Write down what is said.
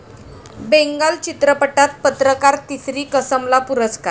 बेंगाल चित्रपटात पत्रकार 'तिसरी कसम' ला पुरस्कार